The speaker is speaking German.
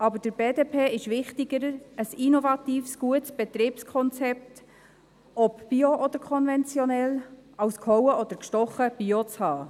Aber der BDP ist ein innovatives, gutes Betriebskonzept, egal ob bio oder konventionell, wichtiger als gehauen oder gestochen Bio zu haben.